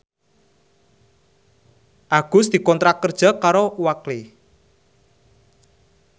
Agus dikontrak kerja karo Oakley